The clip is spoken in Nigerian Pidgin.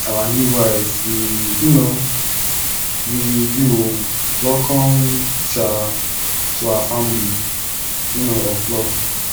our new wife we um we you oo welcome um to our family um of love